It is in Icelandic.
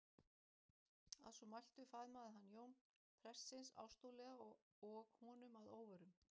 Að svo mæltu faðmaði hann Jón prestsins ástúðlega og honum að óvörum.